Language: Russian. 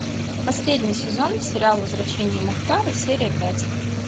последний сезон сериал возвращение мухтара серия пять